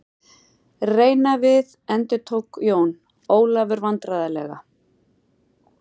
Reyna við endurtók Jón Ólafur vandræðalega.